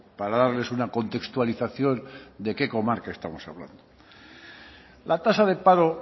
para darles una contextualización de qué comarca estamos hablando la tasa de paro